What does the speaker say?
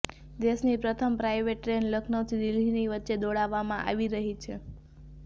દેશની પ્રથમ private train લખનઉથી દિલ્હીની વચ્ચે દોડાવવામાં આવી રહી છે